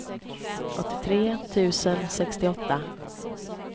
åttiotre tusen sextioåtta